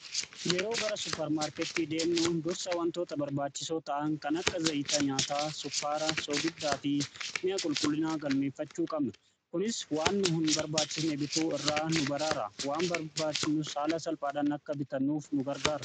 Yeroo gara supparmaarkettii deemnu dursa wantoota barbaachisoo ta'an kan akka zayitaa nyaataa, sukkaara, soogiddaa fi mi'a qulqullinaa galmeeffachuu qabna. Kunis waan nu hin barbaachisne bituu irraa nu baraara, waan barbaanu haala salphaadhan akka bitannuuf nu gargaara.